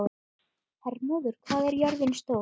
Hermóður, hvað er jörðin stór?